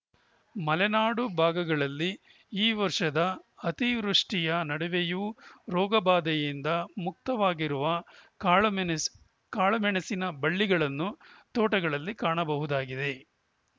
ಮಲೆನಾಡು ಭಾಗಗಳಲ್ಲಿ ಈ ವರ್ಷದ ಅತಿವೃಷ್ಠಿಯ ನಡುವೆಯೂ ರೋಗಬಾಧೆಯಿಂದ ಮುಕ್ತವಾಗಿರುವ ಕಾಳಮೆಣಸ್ ಕಾಳಮೆಣಸಿನ ಬಳ್ಳಿಗಳನ್ನು ತೋಟಗಳಲ್ಲಿ ಕಾಣಬಹುದಾಗಿದೆ